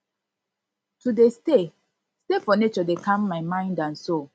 to dey stay stay for nature dey calm my mind and soul